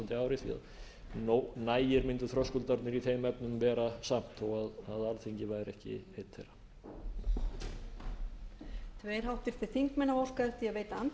því að nægir mundu þröskuldarnir í þeim efnum vera samt þó að alþingi væri ekki einn þeirra